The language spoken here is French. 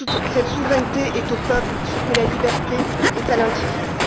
Cette souveraineté est au peuple ce que la liberté est à l'individu.